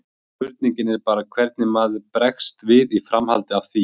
Spurningin er bara hvernig maður bregst við í framhaldi af því.